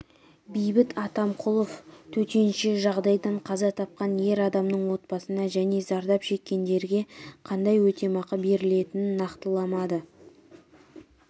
бейбіт атамқұлов төтенше жағдайдан қаза тапқан ер адамның отбасына және зардап шеккендерге қандай өтемақы берілетінін нақтыламады